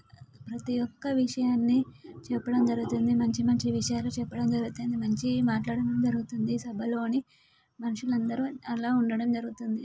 ప్రతి ఒక్క విషయాన్ని చెప్పడం జరుగుతుంది. మంచి మంచి విషయాలు చెప్పడం జరుగుతుంది. మంచి మాట్లాడడం జరుగుతుంది. సభలోనే మనుషులందరూ అలా ఉండడం జరుగుతుంది.